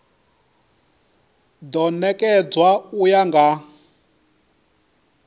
do nekedzwa u ya nga